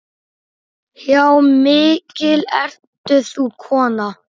Já, mikil ert þú kona.